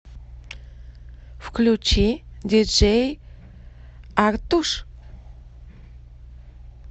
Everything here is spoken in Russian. включи диджей артуш